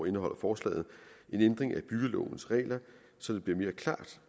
indeholder forslaget en ændring af byggelovens regler så det bliver mere klart